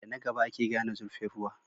Da na gaba ake gane zurfin ruwa.